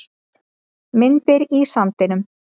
Myndir í sandinum